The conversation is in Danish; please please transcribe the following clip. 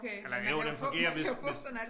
Eller jo den fungerer hvis hvis